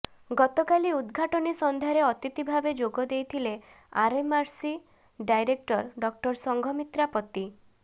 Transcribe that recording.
ଗତକାଲି ଉଦଘାଟନୀ ସନ୍ଧ୍ୟାରେ ଅତିଥି ଭାବେ ଯୋଗଦେଇଥିଲେ ଆରଏମ୍ଆରସି ଡାଇରେକ୍ଟର ଡକ୍ଟର ସଂଘମିତ୍ରା ପତି